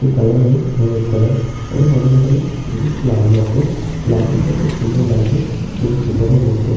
একটি কালার হলো হলুদ কালার এবং নানা রকমের জিনিস লাগানো আছে লাইটিং টা খুব সুন্দর লাগছে জিম সেন্টার এর মধ্যে--